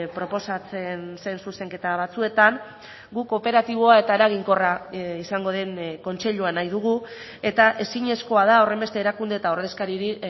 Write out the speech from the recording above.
proposatzen zen zuzenketa batzuetan guk operatiboa eta eraginkorra izango den kontseilua nahi dugu eta ezinezkoa da horrenbeste erakunde eta ordezkariri